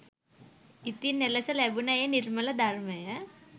ඉතින් එලෙස ලැබුණ ඒ නිර්මල ධර්මය